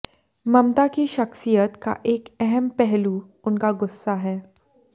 ममता की शख्सियत का एक अहम पहलू उनका गुस्सा है